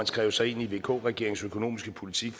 skrev sig ind i vk regeringens økonomiske politik